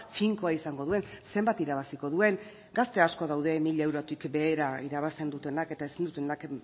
finkoa izango duen zenbat irabaziko duen gazte asko daude mila eurotik behera irabazten dutenak eta ezin dutenak